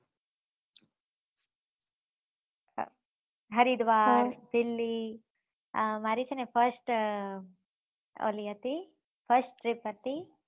Haridwar delhi મારી છે ને first લી હતી first trip હતી